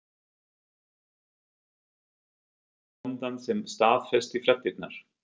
Ólafur Hjaltason þekkti þar bóndann sem staðfesti fréttirnar.